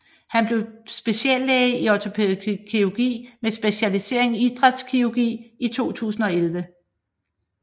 Han blev speciallæge i ortopædkirurgi med specialisering i idrætskirurgi i 2011